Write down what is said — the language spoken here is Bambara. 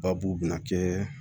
Ba b'u bɛna kɛ